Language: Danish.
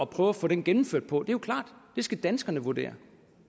prøve at få den gennemført på det jo klart det skal danskerne vurdere